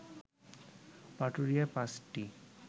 পাটুরিয়ায় পাঁচটি